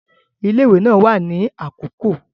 Ile-iwe naa wa ni akoko